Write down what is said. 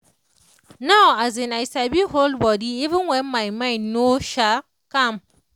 now um i sabi hold body even when my mind no um calm